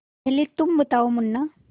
पहले तुम बताओ मुन्ना